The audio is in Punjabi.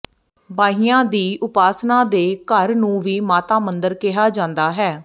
ਬਾਹੀਆਂ ਦੀ ਉਪਾਸਨਾ ਦੇ ਘਰ ਨੂੰ ਵੀ ਮਾਤਾ ਮੰਦਰ ਕਿਹਾ ਜਾਂਦਾ ਹੈ